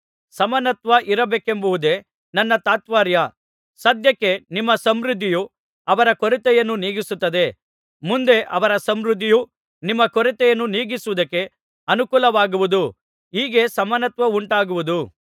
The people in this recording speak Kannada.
ಸಮಾನತ್ವ ಇರಬೇಕೆಂಬುದೇ ನನ್ನ ತಾತ್ಪರ್ಯ ಸದ್ಯಕ್ಕೆ ನಿಮ್ಮ ಸಮೃದ್ಧಿಯು ಅವರ ಕೊರತೆಯನ್ನು ನೀಗಿಸುತ್ತದೆ ಮುಂದೆ ಅವರ ಸಮೃದ್ಧಿಯು ನಿಮ್ಮ ಕೊರತೆಯನ್ನು ನೀಗಿಸುವುದಕ್ಕೆ ಅನುಕೂಲವಾಗುವುದು ಹೀಗೆ ಸಮಾನತ್ವವುಂಟಾಗುವುದು